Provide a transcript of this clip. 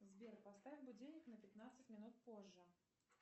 сбер поставь будильник на пятнадцать минут позже